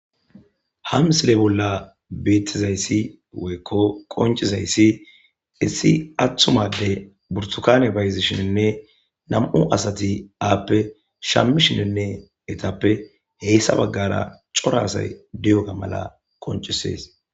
Hamsile bolla beettizayssi weyekko qoncizayssi issi atthumade burtukane bayzishininne nam7u asati aappe shammishinenne etappe heyssa baggara cora asay diyoga mala qoncisees